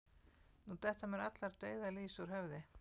Nú detta mér allar dauðar lýs úr höfði